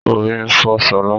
Orí ń fọ́ ṣọlá